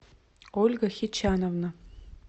ольга хичановна